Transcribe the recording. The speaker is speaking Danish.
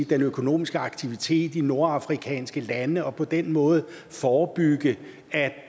den økonomiske aktivitet i nordafrikanske lande og på den måde forebygge at